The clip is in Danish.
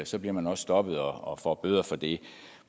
så bliver man også stoppet og får bøder for det